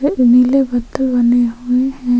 और बद्दल बने हुए हैं।